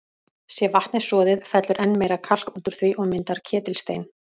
Sé vatnið soðið, fellur enn meira kalk út úr því og myndar ketilstein.